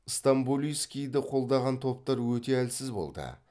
стамболийскийді қолдаған топтар өте әлсіз болды